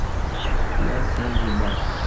я сэм врубай